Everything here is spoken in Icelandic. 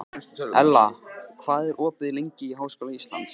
Ella, hvað er opið lengi í Háskóla Íslands?